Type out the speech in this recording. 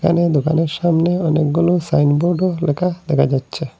এখানে দোকানের সামনে অনেকগুলো সাইনবোর্ডও লেখা দেখা যাচ্ছে।